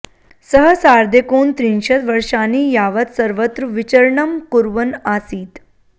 सः सार्धैकोनत्रिंशत् वर्षाणि यावत् सर्वत्र विचरणं कुर्वन् आसीत्